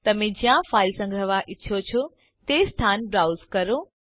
તમે જ્યાં ફાઈલ સંગ્રહવા ઈચ્છો છો તે સ્થાન બ્રાઉઝ કરો